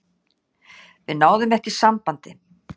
Við náðum ekki sambandi.